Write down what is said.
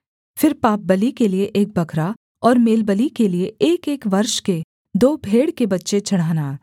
फिर पापबलि के लिये एक बकरा और मेलबलि के लिये एकएक वर्ष के दो भेड़ के बच्चे चढ़ाना